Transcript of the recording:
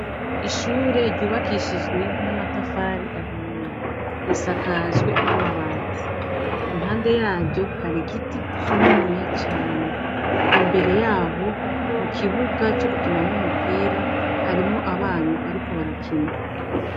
Ishure ryubakishijwe n'amatafari ahiye. Risakajwe n'amabati. Impande yaryo har'igiti kininiya cane. Imbere y'aho, mu kibuga co gukiniramwo umupira, harimwo abana bariko barakina.